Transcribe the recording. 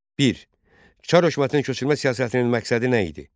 Bir Çar hökumətinin köçürmə siyasətinin məqsədi nə idi?